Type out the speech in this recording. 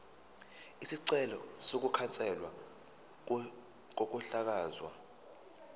isicelo sokukhanselwa kokuhlakazwa